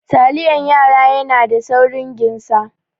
Taliyan yara yana da saurin ginsa.